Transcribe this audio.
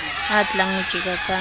a tlang ho tjeka ka